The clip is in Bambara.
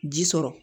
Ji sɔrɔ